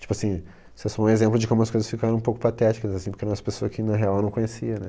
Tipo assim, isso é só um exemplo de como as coisas ficaram um pouco patéticas, assim, porque eu era pessoaa que na real eu não conhecia, né?